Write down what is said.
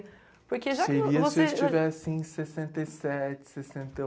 porque já o, Seria se eu estivesse em sessenta e sete, sessenta e